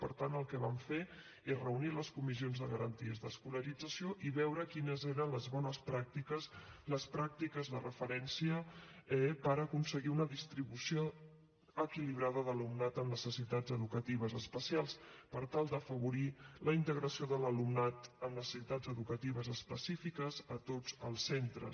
per tant el que vam fer és reunir les comissions de garanties d’escolarització i veure quines eren les bones pràctiques les pràctiques de referència eh per aconseguir una distribució equilibrada de l’alumnat amb necessitats educatives especials per tal d’afavorir la integració de l’alumnat amb necessitats educatives específiques a tots els centres